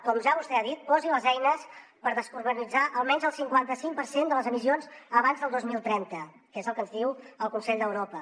com ja vostè ha dit posi les eines per descarbonitzar almenys el cinquanta cinc per cent de les emissions abans del dos mil trenta que és el que ens diu el consell d’europa